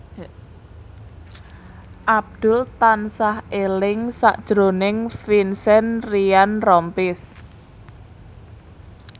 Abdul tansah eling sakjroning Vincent Ryan Rompies